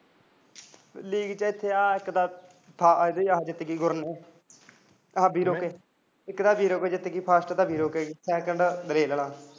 leak ਚ ਤਾਂ ਇੱਥੇ ਇੱਕ ਆਹਾ ਜਿੱਤ ਗਈ ਗੁਰ ਨੂੰਹ ਵੀਰੂ